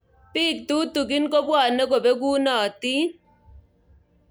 Bik tutukin kobwanei kobekunotin.